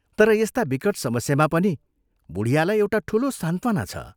तर यस्ता विकट समस्यामा पनि बुढियालाई एउटा ठूलो सान्त्वना छ।